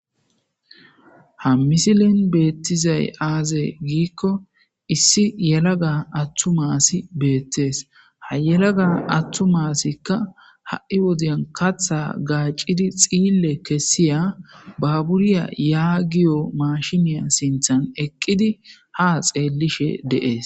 ha misilin beettizay aazey giikko issi yelaga attu maasi beettees ha yelaga attu masikka ha7i wodiyan katha gaacidi xiille kessiya baburiya yaa giyo mashiniya sinthan eqqidi ha xeellishe deees